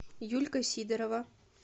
юлька сидорова